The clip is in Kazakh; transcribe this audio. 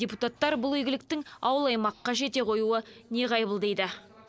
депутаттар бұл игіліктің ауыл аймаққа жете қоюы неғайбыл дейді